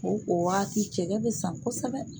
O o wagati cɛkɛ bɛ san kosɛbɛ.